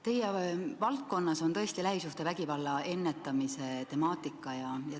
Teie valdkonda kuulub tõesti lähisuhtevägivalla ennetamise temaatika.